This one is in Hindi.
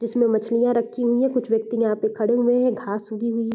जिसमें मछलियाँ रखी हुई है कुछ व्यक्ति ने यहाँ पे खड़े हुए हैं घास उगी हुई है।